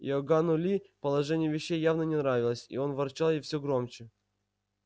иоганну ли положение вещей явно не нравилось и он ворчал и всё громче